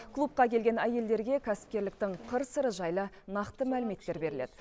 клубқа келген әйелдерге кәсіпкерліктің қыр сыры жайлы нақты мәліметтер беріледі